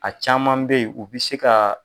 A caman bɛ yen u bɛ se ka